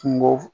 Kungo